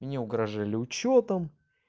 мне угрожали учётом